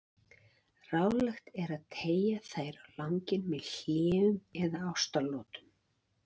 Ráðlegt er að teygja þær á langinn með hléum eða ástaratlotum.